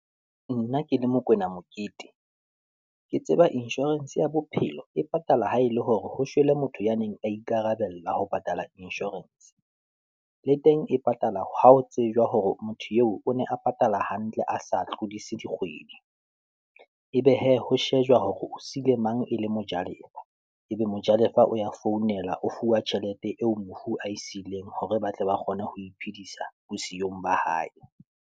Nna ke le Mokoena Mokete, ke tseba inshorense ya bophelo e patala ha e le hore ho shwele motho ya neng a ikarabella ho patala inshorense, le teng e patala ha ho tsejwa hore motho eo o ne a patala hampe ntle a sa tlodise di kgwedi. Ebe hee, ho shejwa hore o siile mang e le mojalefa. Ebe mojalefa o ya founela o fuwa tjhelete eo mofu a e siileng, hore ba tle ba kgone ho iphedisa bosiyong ba hae.